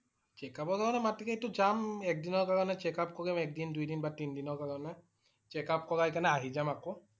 Checkup ৰ কাৰণে মাতিলে টো যাম। এক দিনৰ কাৰণে checkup কৰিম। একদিন, দুইদিন বা তিনিদিনৰ কাৰণে । checkup কৰাই কেনে আহি যাম আকৌ।